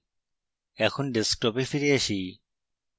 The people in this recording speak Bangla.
এখন desktop এ ফিরে আসি